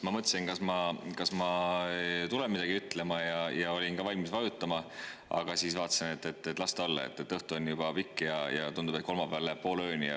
Ma mõtlesin, kas ma tulen midagi ütlema, ja olin ka valmis vajutama, aga siis, et las ta olla, õhtu on juba pikk ja tundub, et kolmapäeval läheb poole ööni.